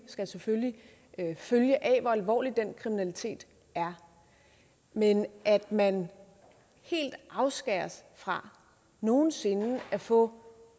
skal selvfølgelig følge af hvor alvorlig den kriminalitet er men at man helt afskæres fra nogen sinde at få